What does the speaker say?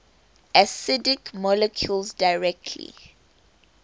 acidic molecules directly